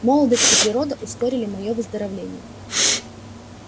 молодость и природа ускорили моё выздоровление